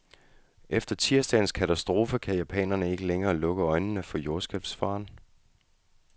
Efter tirsdagens katastrofe kan japanerne ikke længere lukke øjnene for jordskælvsfaren.